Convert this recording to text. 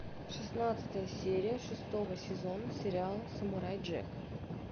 шестнадцатая серия шестого сезона сериала самурай джек